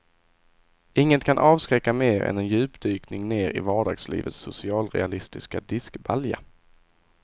Inget kan avskräcka mer än en djupdykning ner i vardagslivets socialrealistiska diskbalja.